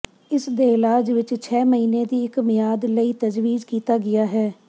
ਇਸ ਦੇ ਇਲਾਜ ਵਿੱਚ ਛੇ ਮਹੀਨੇ ਦੀ ਇੱਕ ਮਿਆਦ ਲਈ ਤਜਵੀਜ਼ ਕੀਤਾ ਗਿਆ ਹੈ